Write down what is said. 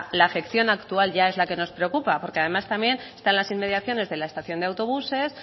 la afección actual ya es la que nos preocupa porque además también está en las inmediaciones de la estación de autobuses